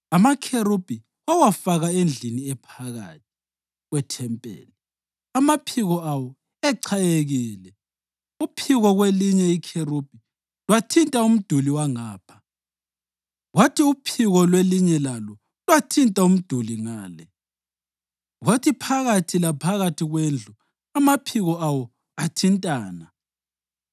Amakherubhi wawafaka endlini ephakathi kwethempeli, amaphiko awo echayekile. Uphiko lwelinye ikherubhi lwathinta umduli wangapha kwathi uphiko lwelinye lalo lwathinta umduli ngale, kwathi phakathi laphakathi kwendlu amaphiko awo athintana.